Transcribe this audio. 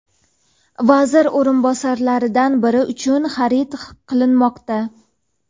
vazir o‘rinbosarlaridan biri uchun xarid qilinmoqda.